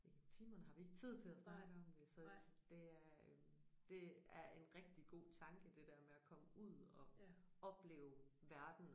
I timerne har vi ikke tid til at snakke om det så det er øh det er en rigtig god tanke det der med at komme ud og opleve verden